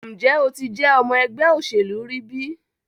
Nje o ti je ọmọ ẹgbẹ oselu ri bi?